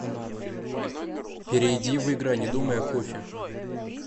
перейди в игра не думай о кофе